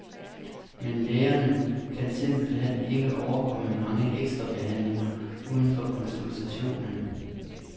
Men lægerne kan simpelt hen ikke overkomme mange ekstra behandlinger uden for konsultationen.